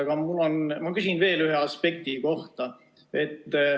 Aga ma küsin veel ühe aspekti kohta.